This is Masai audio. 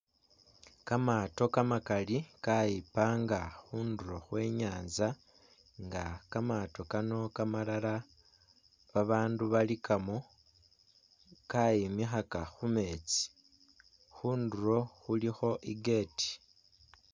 Kamato kamakali kayipanga khundulo khwe nyantsa nga kamato Kano kamalala babandu balikamo kayimikhaka khumetsi khundulo khulikho i gate